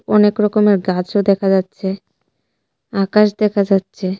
অনেক রকমের গাছও দেখা যাচ্ছে আকাশ দেখা যাচ্ছে.